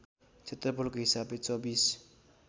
क्षेत्रफलको हिसाबले २४